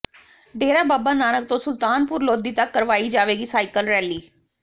ਡੇਰਾ ਬਾਬਾ ਨਾਨਕ ਤੋਂ ਸੁਲਤਾਨਪੁਰ ਲੋਧੀ ਤੱਕ ਕਰਵਾਈ ਜਾਵੇਗੀ ਸਾਈਕਲ ਰੈਲੀ